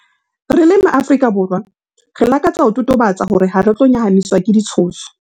Re le MaAfrika Borwa, re lakatsa ho totobatsa hore hare tlo nyahamiswa ke ditshoso.